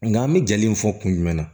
Nka an bɛ ja in fɔ kun jumɛn na